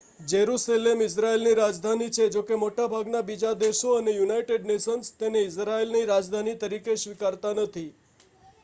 Jerusalem ઇઝરાયલની રાજધાની છે જોકે મોટાભાગના બીજા દેશો અને યુનાઇટેડ નેશન્સ તેને ઇઝરાયલની રાજધાની તરીકે સ્વીકારતા નથી